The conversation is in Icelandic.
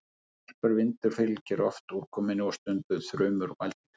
Snarpur vindur fylgir oft úrkomunni og stundum þrumur og eldingar.